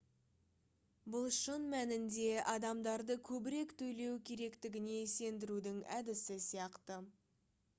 бұл шын мәнінде адамдарды көбірек төлеу керектігіне сендірудің әдісі сияқты